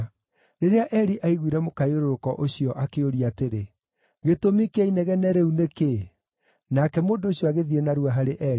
Rĩrĩa Eli aiguire mũkayũrũrũko ũcio akĩũria atĩrĩ, “Gĩtũmi kĩa inegene rĩu nĩ kĩĩ?” Nake mũndũ ũcio agĩthiĩ narua harĩ Eli,